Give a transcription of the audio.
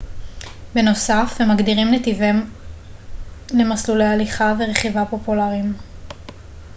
בנוסף הם מגדירים נתיבים למסלולי הליכה ורכיבה פופולריים